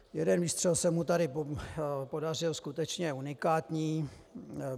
Jeden výstřel se mu tady podařil skutečně unikátní.